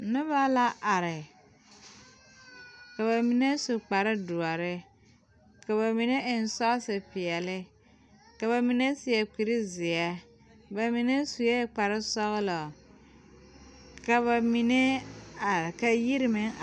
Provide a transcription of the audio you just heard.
Nobɔ la are ka ba mine su kpare doɔre ka ba mine eŋ sɔɔse peɛle ka ba mine seɛ kurizeɛ ba mine suee kparesɔglɔ ka ba mine are ka yiri meŋ a.